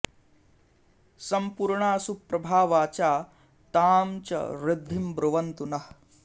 सम्पूर्णा सुप्रभा वाचा तां च ऋद्धिं ब्रुवन्तु नः